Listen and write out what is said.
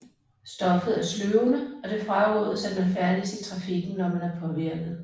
Stoffet er sløvende og det frarådes at man færdes i trafikken når man er påvirket